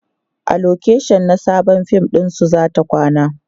a location na Sabon fim ɗinsu zata kwana